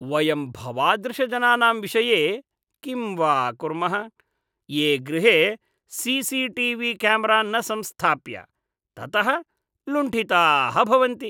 वयं भवादृशजनानां विषये किं वा कुर्मः, ये गृहे C C T V camera न संस्थाप्य, ततः लुण्ठिताः भवन्ति।